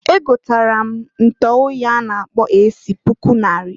Egotara m ntuoyi a na-akpọ AC puku nnarị.